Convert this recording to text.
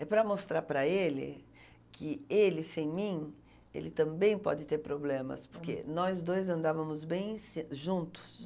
É para mostrar para ele que ele sem mim, ele também pode ter problemas, porque nós dois andávamos bem se juntos.